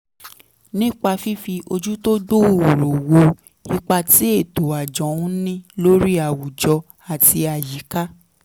nípa fífi ojú tó gbòòrò wo ipa tí ètò àjọ ń ní lórí àwùjọ àti àyíká